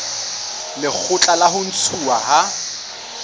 lekgotla la ho ntshuwa ha